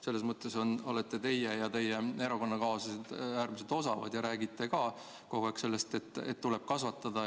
Selles mõttes olete teie ja teie erakonnakaaslased äärmiselt osavad ja räägite ka kogu aeg sellest, et tuleb kasvatada.